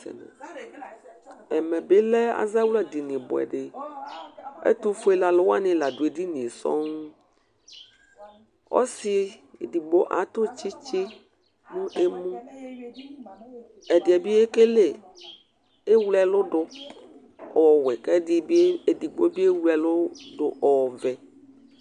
Ɛmɛɓɩ ɔlɛ azawlaɗɩnɩ ɔɓʊɛɗɩ ɛtʊfʊele alʊwanɩ laɗʊ eɗɩnŋe ɔsɩ eɗɩgbo atʊ tsɩtsɩ nʊ emʊ ɛɗɩɓɩe wle ɛlʊɗʊ ɔwɛ ɛɗɩɓɩe wle ɛlʊɗʊ ɔʋɛ